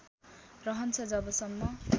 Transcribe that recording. रहन्छ जब सम्म